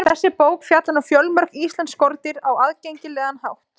Þessi bók fjallar um fjölmörg íslensk skordýr á aðgengilegan hátt.